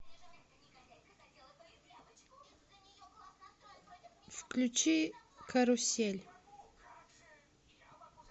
включи карусель